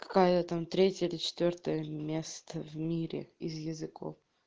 какая там третья четвёртое место в мире из языков